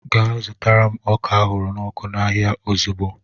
Gaa zụtara m ọka ahụrụ n'ọkụ n'ahịa ozugbo!